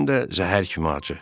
Həm də zəhər kimi acı.